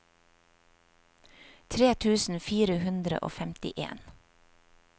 tre tusen fire hundre og femtien